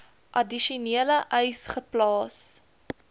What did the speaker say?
addisionele eise geplaas